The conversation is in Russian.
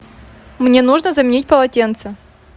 мне нужно заменить полотенце